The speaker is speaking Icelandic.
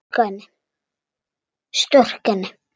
Storka henni.